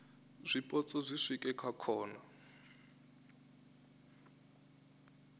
zwipotso zwi swike kha khona